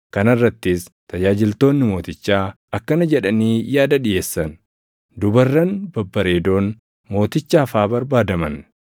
Kana irrattis tajaajiltoonni mootichaa akkana jedhanii yaada dhiʼeessan; “Dubarran babbareedoon mootichaaf haa barbaadaman.